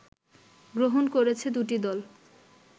গ্রহণ করেছে দুটি দল